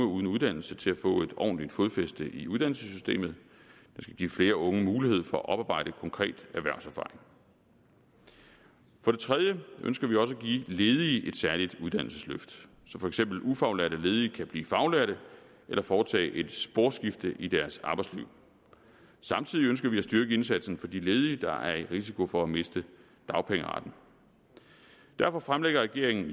uddannelse til at få et ordentligt fodfæste i uddannelsessystemet og give flere unge mulighed for at oparbejde konkret erhvervserfaring for det tredje ønsker vi også at give ledige et særligt uddannelsesløft så for eksempel ufaglærte ledige kan blive faglærte eller foretage et sporskifte i deres arbejdsliv samtidig ønsker vi at styrke indsatsen for de ledige der er i risiko for at miste dagpengeretten derfor fremlægger regeringen i